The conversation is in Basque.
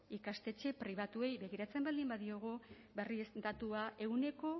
ikastetxe pribatuei begiratzen baldin badiegu berriz datua ehuneko